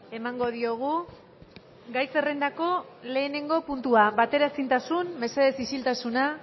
emango diogu gai zerrendako lehenengo puntua bateraezintasun mesedez isiltasuna